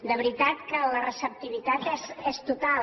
de veritat que la receptivitat és total